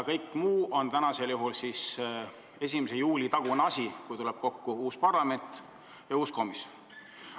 Kõik muu sõltub sellest, mis saab pärast 1. juulit, kui tulevad kokku uus parlament ja uus komisjon.